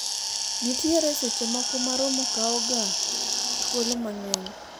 nitiere seche moko ma romo kawo ga thuolo mang'eny